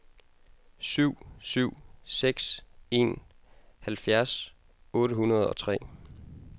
syv syv seks en halvfjerds otte hundrede og tre